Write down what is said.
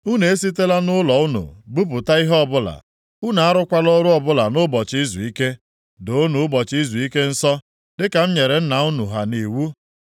Unu esitela nʼụlọ unu buputa ihe ọbụla, unu arụkwala ọrụ ọbụla nʼụbọchị izuike. Doonụ ụbọchị izuike nsọ dịka m nyere nna unu ha nʼiwu.